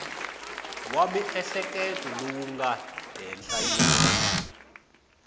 wa miehleketo lowu nga henhlanyana